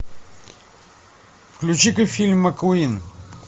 включи ка фильм маккуин